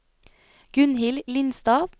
Gunnhild Lindstad